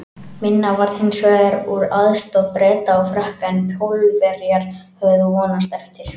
Minna varð hins vegar úr aðstoð Breta og Frakka en Pólverjar höfðu vonast eftir.